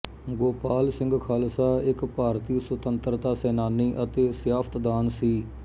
ਗੋਪਾਲ ਸਿੰਘ ਖ਼ਾਲਸਾ ਇੱਕ ਭਾਰਤੀ ਸੁਤੰਤਰਤਾ ਸੈਨਾਨੀ ਅਤੇ ਸਿਆਸਤਦਾਨ ਸੀ